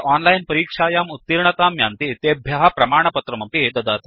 ये ओनलाइन् परीक्षायाम् उत्तीर्णतां यान्ति तेभ्य प्रमाणपत्रमपि ददाति